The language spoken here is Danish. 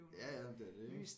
Ja ja det er det ik